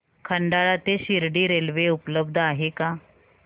खंडाळा ते शिर्डी रेल्वे उपलब्ध आहे का